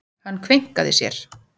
Hann kveinkaði sér.